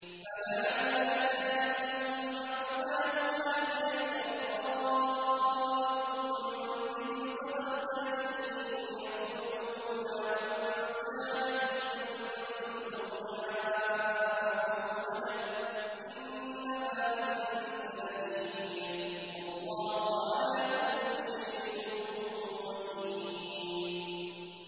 فَلَعَلَّكَ تَارِكٌ بَعْضَ مَا يُوحَىٰ إِلَيْكَ وَضَائِقٌ بِهِ صَدْرُكَ أَن يَقُولُوا لَوْلَا أُنزِلَ عَلَيْهِ كَنزٌ أَوْ جَاءَ مَعَهُ مَلَكٌ ۚ إِنَّمَا أَنتَ نَذِيرٌ ۚ وَاللَّهُ عَلَىٰ كُلِّ شَيْءٍ وَكِيلٌ